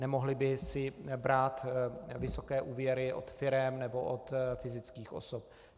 Nemohly by si brát vysoké úvěry od firem nebo od fyzických osob.